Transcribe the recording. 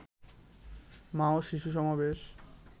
মা ও শিশু সমাবেশ